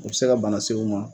Abe se ka bana se i ma.